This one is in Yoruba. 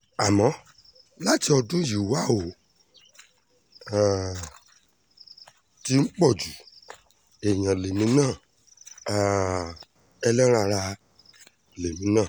àmọ́ láti ọdún yìí wà ó ti um ń pọ̀ ju èèyàn lèmi náà um ẹlẹ́ran ara lèmi náà